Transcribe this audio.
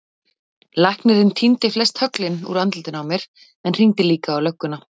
Læknirinn tíndi flest höglin úr andlitinu á mér en hringdi líka á lögguna.